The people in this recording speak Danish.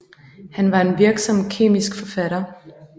Han var en virksom kemisk forfatter